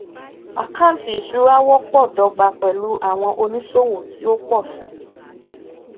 àkántì ìṣura wọpọ dọgba pẹlú àwọn oníṣòwò tí ó pọ sí